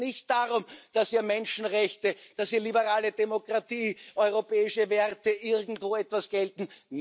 Da geht es nicht darum, dass hier Menschenrechte, dass hier liberale Demokratie, europäische Werte irgendwo etwas gelten.